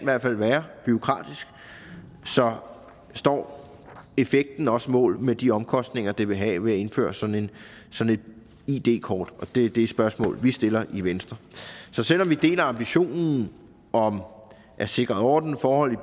være bureaukratisk så står effekten også mål med de omkostninger det vil have at indføre sådan et id kort det er det spørgsmål vi stiller i venstre så selv om vi deler ambitionen om at sikre ordnede forhold i